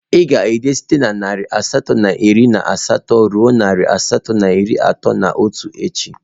Ị ga-ede site na narị asatọ na iri na asatọ ruo narị asatọ na iri atọ na otu echi!